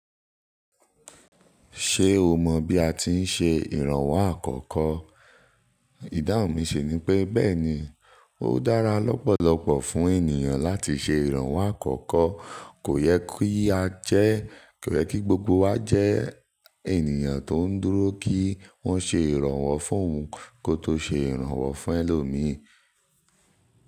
Ṣé o mọ̀ bí a ti ń ṣe ìrànwọ́ àkọ́kọ́? Ìdáhun mi ṣi ni bẹ́ẹ̀ni, ó dára lọ́pọ̀lọpọ̀ fún ènìyàn láti ṣe ìrànwọ́ àkọ́kọ́. Kò yẹ kí a jẹ́, kò yẹ kí gbogbo wa jẹ́ ènìyàn tó ń dúró kí wọ́n ṣe ìrànwọ́ fún òun, kó tó ṣe ìrànwọ́ fún ẹlòmíì.